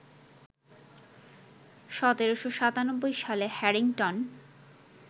১৭৯৭ সালে হ্যারিংটন